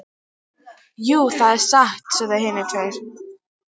Jú, það er satt, sögðu hinar tvær.